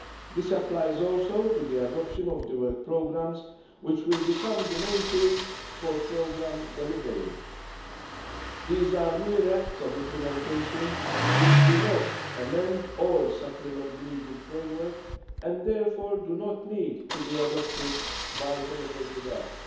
This applies also to the adoption of the work programmes, which will become the main tool for programme delivery. These are mere acts of implementation, which do not amend or supplement the legal framework and therefore do not need to be adopted by means of delegated acts.